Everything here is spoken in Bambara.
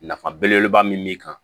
Nafa belebeleba min b'i kan